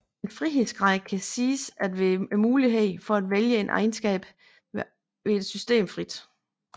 En frihedsgrad kan siges at være muligheden for at vælge en egenskab ved et system frit